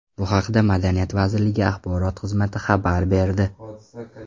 Bu haqda madaniyat vazirligi axborot xizmati xabar berdi .